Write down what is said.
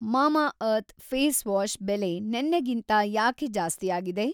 Mamaearth face wash ಬೆಲೆ ನೆನ್ನೆಗಿಂತ ಯಾಕೆ‌ ಜಾಸ್ತಿಯಾಗಿದೆ?